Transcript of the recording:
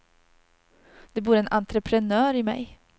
Det bor en entreprenör i mig.